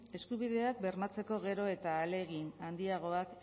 eskubideak bermatzeko gero eta ahalegin handiagoak